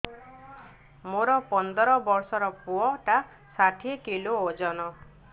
ମୋର ପନ୍ଦର ଵର୍ଷର ପୁଅ ଟା ଷାଠିଏ କିଲୋ ଅଜନ